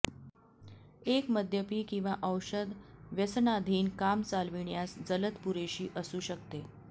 एक मद्यपी किंवा औषध व्यसनाधीन काम चालविण्यास जलद पुरेशी असू शकते